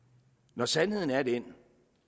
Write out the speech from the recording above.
når sandheden er den